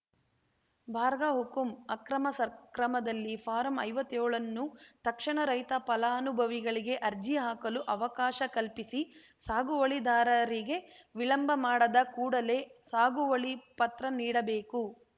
ಬರ್ಗ ಹುಕಂ ಅಕ್ರಮ ಸಕ್ರಮದಲ್ಲಿ ಫಾರಂ ಐವತ್ತೇಳನ್ನು ತಕ್ಷಣ ರೈತ ಪಲಾನುಭವಿಗಳಿಗೆ ಅರ್ಜಿ ಹಾಕಲು ಅವಕಾಶ ಕಲ್ಪಿಸಿ ಸಾಗುವಳಿ ದಾರರಿಗೆ ವಿಳಂಬ ಮಾಡದ ಕೂಡಲೆ ಸಾಗುವಳಿ ಪತ್ರ ನೀಡಬೇಕು